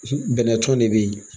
Bɛnɛ tɔn de be yen